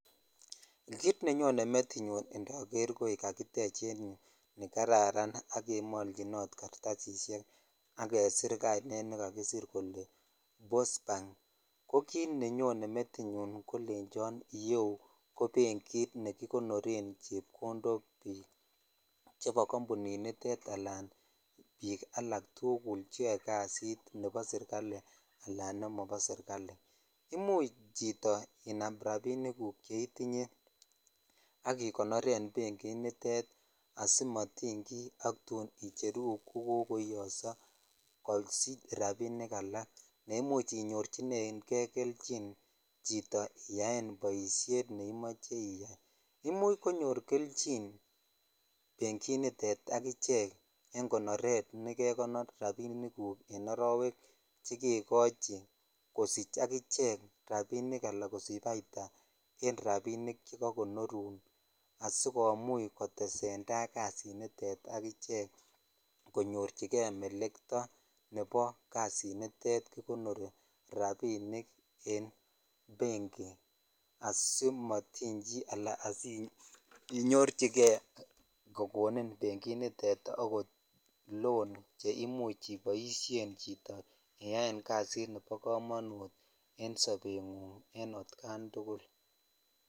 Kit nenyone metinyun indoor koi kakitech en yuu nikaraaran ak kemolchinot kartsishek ak kesir kainet ne kaakisirr jele postmark ko kit ne nyoone metunyu ko lechon iyeu ko bengit ne kikonoren chepkondok bik cheba kabuni nitet ala bik tugul cheyo kasinitet al kochebo sirkali ala nemobo serkali imuuch cchito inam rabikguk cheitinye ak igonoren banginitet asimotiny ki ak tun icheru kokoiyoso kosiche rabik ala ne imuch inyorchinren kei chito kelchin iyaen boishet nemoe iyai imuch konyor kelchin banginitet ak iche en konore nekegonor rabik guk en arowek che kekochi kosich akiche rabik ala kosich baita en rabik chekakonorun casikomuch kotesenvkasinit ak ichek konyorchi jei meleto nebo kasinnitet kikonori rabinik en bengi asimitiny chi ala sinyochikei kokonin banginitet rabinik kou ako loan che imuch iboishen chito iyan kasitnebo komonut en sobengunng en otkan tukul.